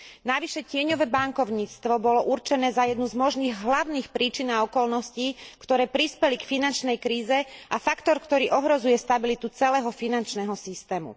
Navyše tieňové bankovníctvo bolo určené za jednu z možných hlavných príčin a okolností, ktoré prispeli k finančnej kríze, a faktor, ktorý ohrozuje stabilitu celého finančného systému.